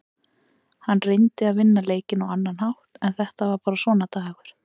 Hann reyndi að vinna leikinn á annan hátt en þetta var bara svona dagur.